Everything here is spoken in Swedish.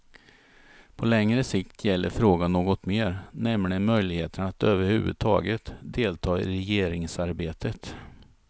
På längre sikt gäller frågan något mer, nämligen möjligheterna att överhuvudtaget delta i regeringsarbetet.